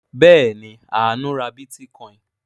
Bẹ́ẹ̀ ni, Àánú ra bítíkọ́ìn.